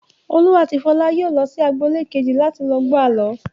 Olú àti Fọlá yóò lọ sí agboolé kejì láti lọ gbọ́ àlọ́.